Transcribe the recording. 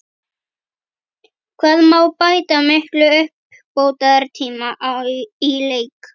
Hvað má bæta miklum uppbótartíma í leik?